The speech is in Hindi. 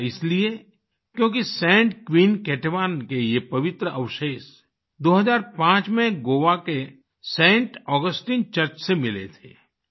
ऐसा इसलिए क्योंकि saint queen Ketevan saint queen Ketevan के ये पवित्र अवशेष 2005 में गोवा के सैंट ऑगस्टाइन चर्च से मिले थे